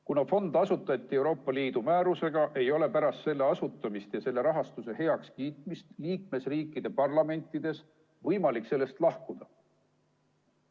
Kuna fond asutati Euroopa Liidu määrusega, ei ole pärast selle asutamist ja selle rahastuse heakskiitmist liikmesriikide parlamentides võimalik sellest lahkuda.